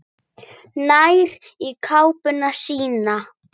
Nær í kápuna sína.